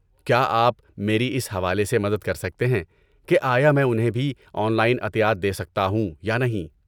کیا آپ میری اس حوالے سے مدد کر سکتے ہیں کہ آیا میں انہیں بھی آن لائن عطیات دے سکتا ہوں یا نہیں؟